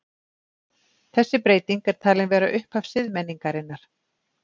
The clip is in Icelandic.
Þessi breyting er talin vera upphaf siðmenningarinnar.